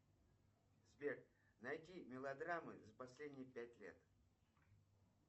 сбер найди мелодрамы за последние пять лет